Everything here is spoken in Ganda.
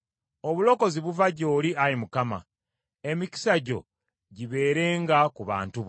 Obulokozi buva gy’oli, Ayi Mukama . Emikisa gyo gibeerenga ku bantu bo.